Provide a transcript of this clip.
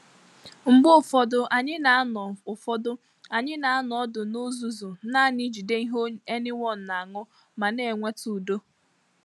Mgbe ụfọdụ, anyi na-ano ụfọdụ, anyi na-ano ọdụ n'uzuzu naani ijide ihe anyone na ańụ ma na enweta ụdọ.